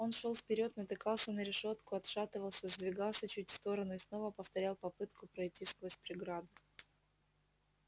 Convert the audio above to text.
он шёл вперёд натыкался на решётку отшатывался сдвигался чуть в сторону и снова повторял попытку пройти сквозь преграду